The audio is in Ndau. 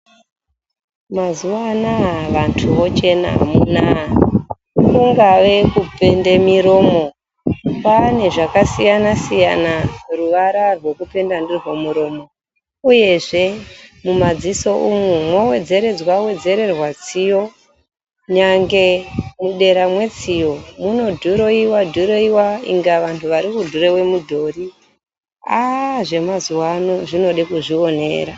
Mazuwa anaya vantu vochena amunaa kungave kuenda muromo kwaane zvakasiyana siyana tuvarsa rwekipenda ndirwona muromo uyezve mumadziso umu mwowedzeredxwa tsiyo nyange mudera metsiyo munodhiroiwa dhiroiwa inga vanhu vari kudhiroiwa mudhori aa zvemazuwa ano zvinode kuzvionera.